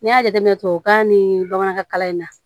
N'i y'a jateminɛ tubabukan ni bamanankan kalan in na